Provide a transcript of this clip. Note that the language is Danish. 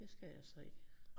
Det skal jeg så ikke